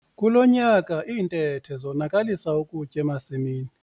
Kulo nyaka iintethe zonakalisa ukutya emasimini.